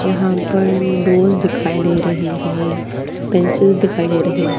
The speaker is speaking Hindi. यहाँ पर डोस दिखाई दे रहे है पिंचेस दिखाई दे रहे है।